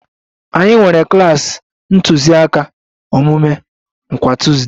Anyị nwere klas ntụziaka omume kwa Tuuzde